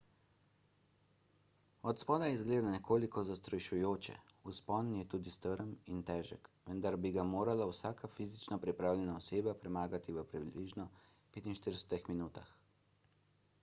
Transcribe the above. od spodaj izgleda nekoliko zastrašujoče vzpon je tudi strm in težek vendar bi ga morala vsaka fizično pripravljena oseba premagati v približno 45 minutah